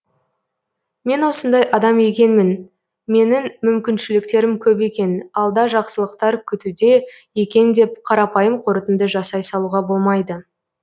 мен осындай адам екенмін менің мүмкіншіліктерім көп екен алда жақсылықтар күтуде екен деп қарапайым қорытынды жасай салуға болмайды